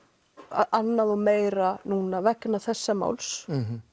annað og meira núna vegna þessa máls